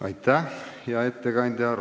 Aitäh, hea ettekandja!